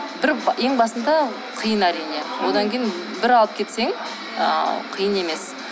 ең басында қиын әрине одан кейін бір алып кетсең ыыы қиын емес